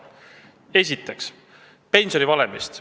Esiteks pensionivalemist.